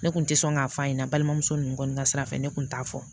Ne kun tɛ sɔn k'a f'a ɲɛna balimamuso ninnu kɔni ka sira fɛ ne kun t'a fɔ